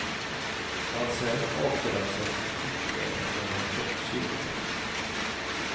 Hans hem avgränsas mot yttervärlden med en tjock kedja.